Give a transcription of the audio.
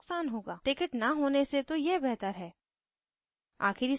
ticket न होने से तो यह बेहतर है